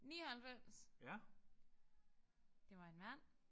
99 det var en mand